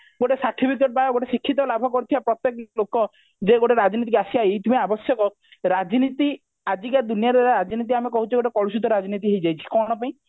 ଗୋଟେ ସାର୍ଟିଫିକତା ଗୋଟେ ଶିକ୍ଷିତ ଲାଭ କରିଥିବା ପ୍ରତେକ ଲୋକ ଯୋଉ ଗୋଟେ ରାଜନୀତିକି ଆସିବା ଏଇଥିପାଇଁ ଆବଶ୍ୟକ ରାଜନୀତି ଆଜିକା ଦୁନିଆରେ ରାଜନୀତି ଆମେ କହୁଛେ ଗୋଟେ କଳୁଷିତ ରାଜନୀତି ହେଇ ଯାଇଛି କଣ ପାଇଁ